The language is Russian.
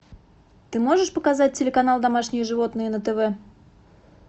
ты можешь показать телеканал домашние животные на тв